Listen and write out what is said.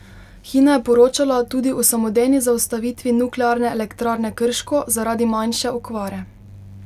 Hina je poročala tudi o samodejni zaustavitvi Nuklearne elektrarne Krško zaradi manjše okvare.